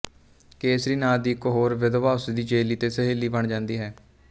ਕੇਸਰੀ ਨਾਂ ਦੀ ਇੱਕ ਹੋਰ ਵਿਧਵਾ ਉਸਦੀ ਚੇਲੀ ਅਤੇ ਸਹੇਲੀ ਬਣ ਜਾਂਦੀ ਹੈ